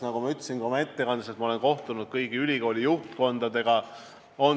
Nagu ma ütlesin ka oma ettekandes, ma olen kohtunud kõigi ülikoolide juhtkondadega.